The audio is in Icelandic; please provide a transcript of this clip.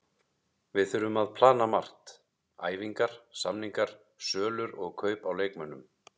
Við þurfum að plana margt, æfingar, samningar, sölur og kaup á leikmönnum.